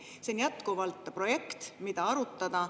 See on jätkuvalt projekt, mida arutada.